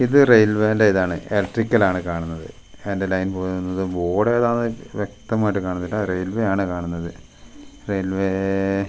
ഇത് റെയിൽവേ ന്റെ ഇതാണ് എലട്രിക്കലാണ് കാണുന്നത് അയിന്റെ ലൈൻ പോകുന്നത് ബോർഡ് ഏതാ ന്ന് വ്യക്തമായിട്ട് കാണുന്നില്ല റെയിൽവേ ആണ് കാണുന്നത് റെയിൽവേ --